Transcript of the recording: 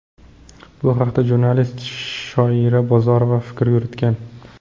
Bu haqda jurnalist Shoira Bozorova fikr yuritgan.